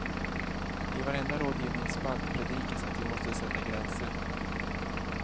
I varenda rådgivningsspalt predikas att vi måste sätta gränser.